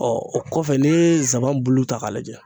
Ɔ o kɔfɛ ni ye n saban bulu ta k'a lajɛ.